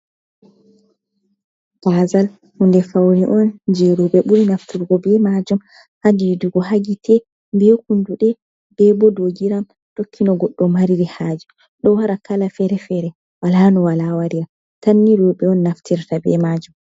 Gazal hunde faune on je roɓe ɓuri naftirgo be majum ha didugo ha gite be kunduɗe be bo dou giram. Tokki no goɗɗo mariri haje. Ɗo wara kala fere-fere wala no wala warira tan ni roɓe on naftirta be majum.